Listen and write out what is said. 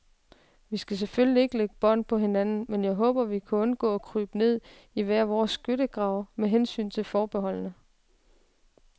Vi skal selvfølgelig ikke lægge bånd på hinanden, men jeg håber, vi kan undgå at krybe ned i hver vores skyttegrave med hensyn til forbeholdene.